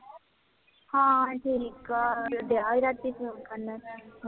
ਹਾਂ ਠੀਕ ਹੈ, ਗਿਆ ਸੀ ਰਾਤੀ ਫੋਨ ਕਰਨ